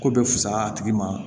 Ko bɛ fusaya a tigi ma